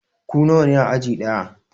Ku nawa ne a aji ɗaya?